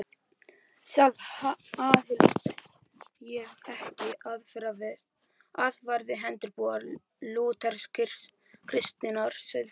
Sjálf aðhyllist ég ekki aðferðafræði hefðbundinnar lúthersk-kristinnar siðfræði.